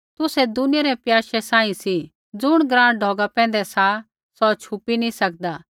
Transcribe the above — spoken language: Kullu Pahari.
तुसै दुनियै रै प्याशै सांही सी ज़ुण ग्राँ ढौगा पैंधै सा सौ छुपी नी सकदा